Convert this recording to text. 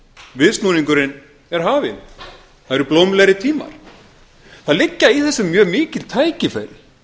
viðsnúningurinn er hafinn það eru blómlegri tímar það liggja í þessu mjög mikil tækifæri